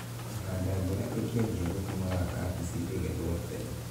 Kũhanda mbura ĩkĩajia gũtũmaga kabeci ĩgethwo tene.